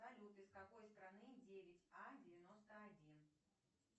салют из какой страны девять а девяносто один